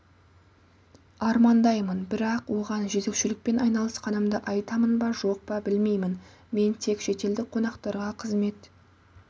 армандаймын бірақ оған жөзекшелікпен айналысқанымды айтамын ба жоқ па білмеймін мен тек шетелдік қонақтарға қызмет